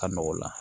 Ka nɔgɔ o la